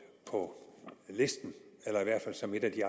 på listen eller i hvert fald som et af de